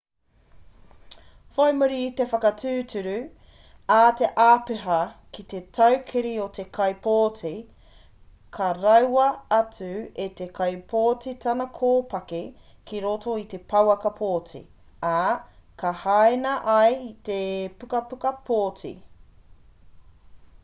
whai muri i te whakatūturu a te āpiha ki te tuakiri o te kaipōti ka raua atu e te kaipōti tana kōpaki ki roto i te pouaka pōti ā ka hāina ai i te pukapuka pōti